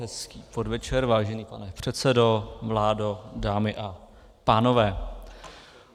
Hezký podvečer, vážený pane předsedo, vládo, dámy a pánové.